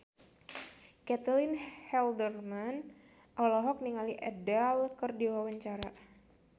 Caitlin Halderman olohok ningali Adele keur diwawancara